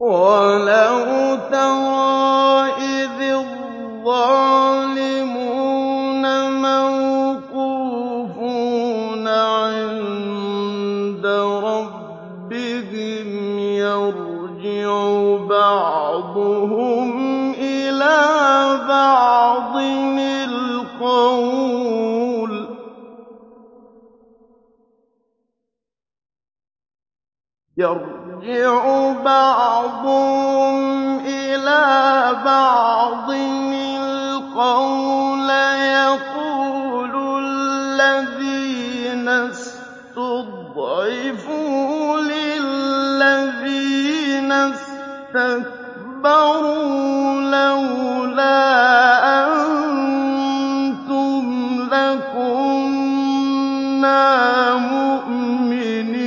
وَلَوْ تَرَىٰ إِذِ الظَّالِمُونَ مَوْقُوفُونَ عِندَ رَبِّهِمْ يَرْجِعُ بَعْضُهُمْ إِلَىٰ بَعْضٍ الْقَوْلَ يَقُولُ الَّذِينَ اسْتُضْعِفُوا لِلَّذِينَ اسْتَكْبَرُوا لَوْلَا أَنتُمْ لَكُنَّا مُؤْمِنِينَ